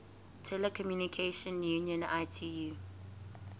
telecommunication union itu